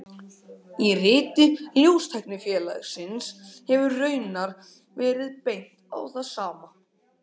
Í riti Ljóstæknifélagsins hefur raunar verið bent á það sama.